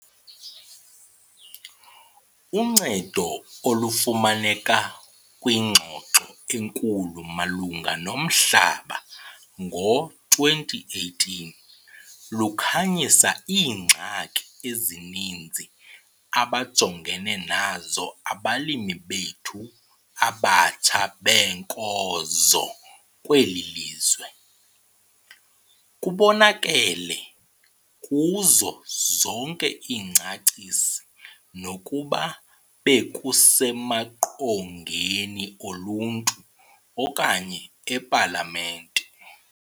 Uncedo olufumaneka kwingxoxo enkulu malunga nomhlaba ngo-2018, lukhanyise iingxaki ezininzi abajongene nazo abalimi bethu abatsha beenkozo kweli lizwe. Kubonakele kuzo zonke iingcaciso nokuba bekusemaqongeni oluntu okanye ePalamente.